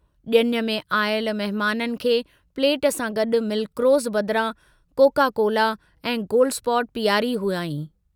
जुञ में आयल महमाननि खे प्लेट सां गड्डु मिल्क रोज़ बदिरां कोका कोला ऐं गोल्ड स्पॉट पीआरी हुआईं।